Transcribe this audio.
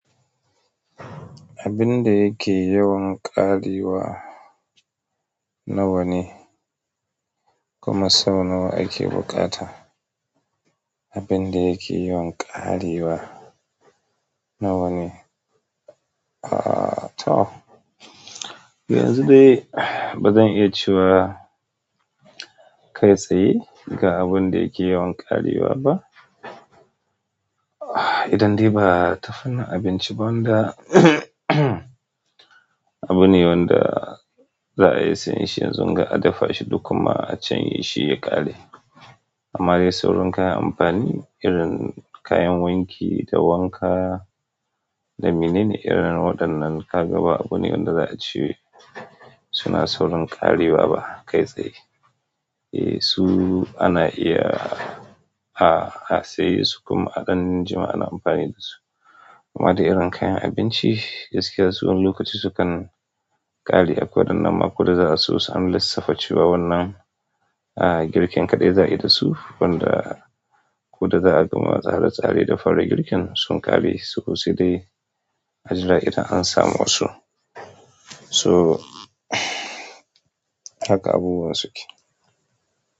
Abin da yake yawan ƙarewa nawa ne, kuma sau nawa ake buƙata? Abin da yake yawan ƙarewa nawa ne. Aaa toh, yanzu dai ba zan iya cewa kai tsaye ga abin da yake yawan ƙarewa ba. Idan dai ba tafannin abinci ba in da abune wanda za a iya sayan shi yanzu ga a dafa shi da kuma a canye shi ya ƙare. Amma dai sauran kayan amfani irin kayan wanki da wanka da menene irin waɗannan ka ga ba abune wanda za a ce suna saurin ƙarewa ba kai tsaye. Eee su ana iya a, a saye su kuma a ɗan jima ana amfani da su. Amma dai irin kayan abinci gaskiya su wani lokaci su kan ƙari a kudan nan ma ko da za a so an lissafa ce wa wannan a girkin kaɗai za a yi da su, wanda ko da za a gama tsare-tsare da fara girkin sun ƙare su ko sai dai a jira idan an samu wasu. So haka abubuwan su ke.